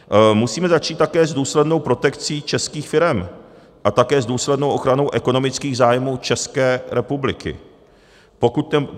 Musíme začít také s důslednou protekcí českých firem a také s důslednou ochranou ekonomických zájmů České republiky.